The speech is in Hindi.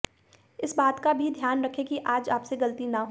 इस बात का भी ध्यान रखें कि आज आपसे गलती न हो